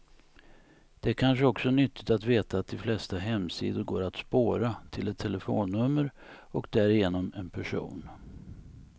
Det är kanske också nyttigt att veta att de flesta hemsidor går att spåra, till ett telefonnummer och därigenom en person.